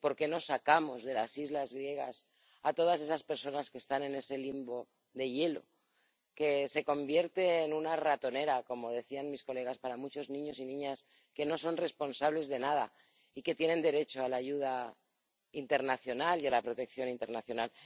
¿Por qué no sacamos de las islas griegas a todas esas personas que están en ese limbo de hielo que se convierte en una ratonera, como decían sus señorías, para muchos niños y niñas que no son responsables de nada y que tienen derecho a la ayuda internacional y a la protección internacional?